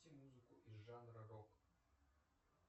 музыку из жанра рок